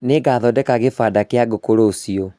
Nĩngathondeka gĩbanda kĩa ngũkũ rũciũ